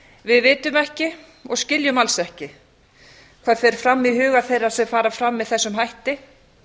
við vitum ekki og skiljum alls ekki hvað fer fram í huga þeirra sem fara fram með þessum hætti